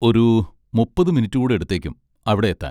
ഒരു മുപ്പത് മിനിറ്റ് കൂടെ എടുത്തേക്കും അവിടെ എത്താൻ.